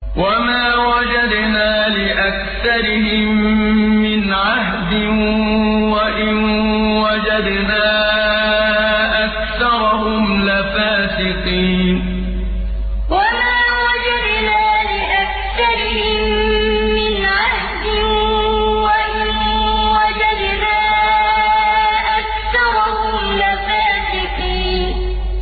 وَمَا وَجَدْنَا لِأَكْثَرِهِم مِّنْ عَهْدٍ ۖ وَإِن وَجَدْنَا أَكْثَرَهُمْ لَفَاسِقِينَ وَمَا وَجَدْنَا لِأَكْثَرِهِم مِّنْ عَهْدٍ ۖ وَإِن وَجَدْنَا أَكْثَرَهُمْ لَفَاسِقِينَ